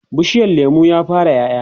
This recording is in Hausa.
bishiyar lemun ya fara ƴaƴa?